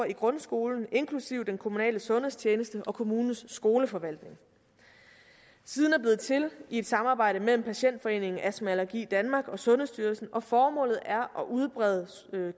i grundskolen inklusive den kommunale sundhedstjeneste og kommunens skoleforvaltning siden er blevet til i et samarbejde mellem patientforeningen astma allergi danmark og sundhedsstyrelsen og formålet er at udbrede